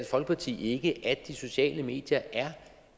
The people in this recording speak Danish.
folkeparti ikke at de sociale medier er